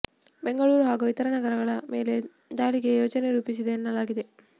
ಬೆಂಗಳೂರು ಹಾಗೂ ಇತರ ನಗರಗಳ ಮೇಲೆ ದಾಳಿಗೆ ಯೋಜನೆ ರೂಪಿಸಿದೆ ಎನ್ನಲಾಗಿದೆ